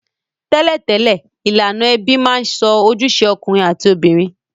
Tẹ́lẹ̀tẹ́lẹ̀, ilànà ebí ma n so ojúse okùnrin àti obìnrin